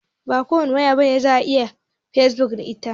Ba kowace waya bace za'a iya yin fesbuk da ita